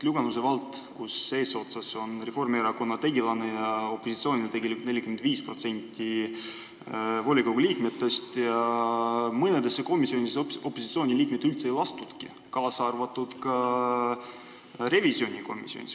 Lüganuse vallas, kus eesotsas on Reformierakonna tegelane ja opositsiooni kuulub tegelikult 45% volikogu liikmetest, mõnesse komisjoni opositsiooni liikmeid üldse ei lastudki, kaasa arvatud revisjonikomisjoni.